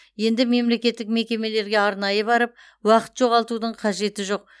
енді мемлекеттік мекемелерге арнайы барып уақыт жоғалтудың қажеті жоқ